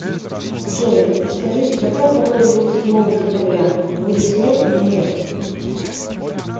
джой подскажите какая погода будет седьмого декабря будет снег или нет